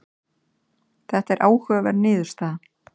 þetta er áhugaverð niðurstaða